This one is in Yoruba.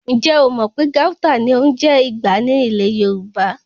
Ǹjẹ̀ o mò pé Gauta ní ń jẹ́ Ìgbá ní ilẹ̀ Yorùbá?